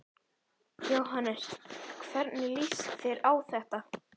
Jóhannes: Hvernig líst þér á þetta?